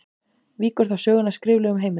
Víkur þá sögunni að skriflegum heimildum.